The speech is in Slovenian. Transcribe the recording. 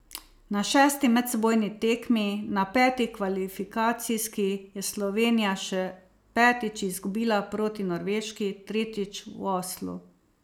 Na šesti medsebojni tekmi, na peti kvalifikacijski, je Slovenija še petič izgubila proti Norveški, tretjič v Oslu.